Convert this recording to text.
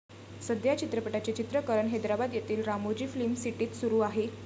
सध्या या चित्रपटाचे चित्रिकरण हैदराबाद येथील रामोजी फिल्म सिटीत सुरु आहे.